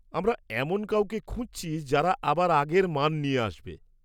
আমরা এমন কাউকে খুঁজছি যারা আবার আগের মান নিয়ে আসবে।